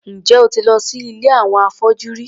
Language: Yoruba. Ǹjẹ́ o ti lọ sí ilé àwọn afọ́jú rí?